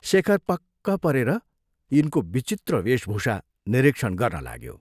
शेखर पक्क परेर यिनको विचित्र वेशभूषा निरीक्षण गर्न लाग्यो।